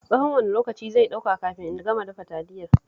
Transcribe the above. Tsahon wane lokaci zai ɗauka kafin in gama dafa Taliyar?